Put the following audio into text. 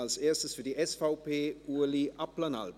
Als erster für die SVP, Ueli Abplanalp.